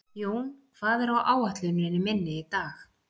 Jón, hvað er á áætluninni minni í dag?